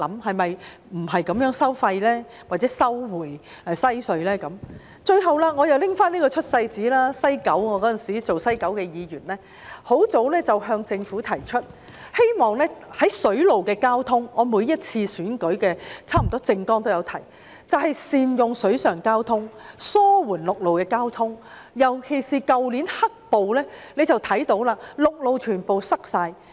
最後，我又要拿出這張"出世紙"，那時候我剛成為九龍西選區的議員，我早已向政府提出，希望善用水上交通——我差不多每次選舉的政綱都會提及這一點——以紓緩陸路交通擠塞的問題，尤其是從去年的"黑暴"事件中可以看到，陸路全被堵塞。